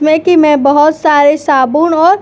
में कि में बोहोत सारे साबुन और--